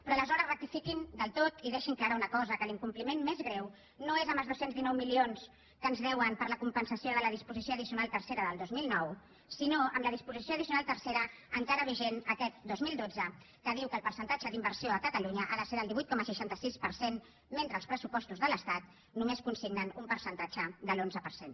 però aleshores rectifiquin del tot i deixin clara una cosa que l’incompliment més greu no és amb els dos cents i dinou milions que ens deuen per la compensació de la dis posició addicional tercera del dos mil nou sinó amb la disposició addicional tercera encara vigent aquest dos mil dotze que diu que el percentatge d’inversió a catalunya ha de ser del divuit coma seixanta sis per cent mentre els pressupostos de l’estat només consignen un percentatge de l’onze per cent